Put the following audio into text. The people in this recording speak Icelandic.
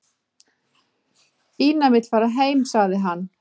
"""Ína vill fara heim, sagði hann."""